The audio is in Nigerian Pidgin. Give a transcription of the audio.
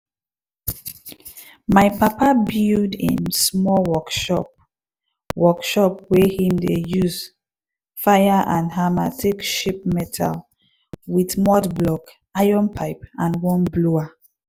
my papa build im small workshop workshop wey him dey use fire and hammer take shape metal with mud block iron pipe and one blower